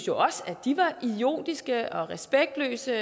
jo også at de var idiotiske og respektløse